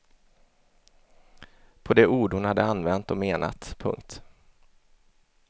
På de ord hon hade använt och menat. punkt